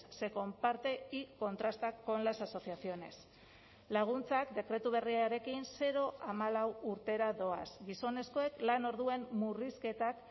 se comparte y contrasta con las asociaciones laguntzak dekretu berriarekin zero hamalau urtera doaz gizonezkoek lanorduan murrizketak